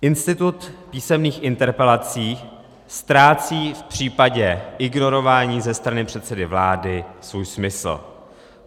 Institut písemných interpelací ztrácí v případě ignorování ze strany předsedy vlády svůj smysl.